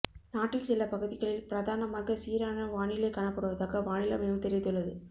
நாட்டில் சில பகுதிகளில் பிரதானமாக சீரான வானிலை காணப்படுவதாக வானிலை மையம் தெரிவித்துள்ளது